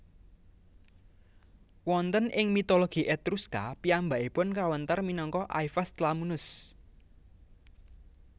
Wonten ing mitologi Etruska piyambakipun kawéntar minangka Aivas Tlamunus